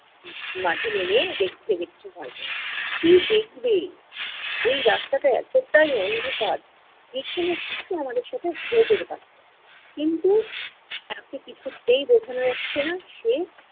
মাঝে নেমে দেখছে যে কিছু হয় কি-না। কী দেখবে! এই রাস্তাটা এতটাই অন্ধকার যে কোনো কিছু আমাদের সাথে হয়ে যেতে পারত। কিন্তু তাকে কিছুতেই বোঝানো যাচ্ছে না সে,